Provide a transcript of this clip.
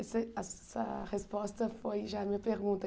Esse essa resposta foi já minha pergunta.